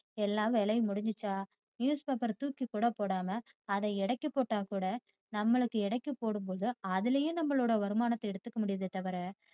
எல்லா வேலையும் முடிஞ்சிச்சா news paper ர தூக்கி கூட போடாம அத எடைக்கு போட்டாகூட நம்மளுக்கு எடைக்கு போடும் போது அதுலேயும் நம்மளோட வருமானத்தை எடுத்துக்க முடியுதே தவிர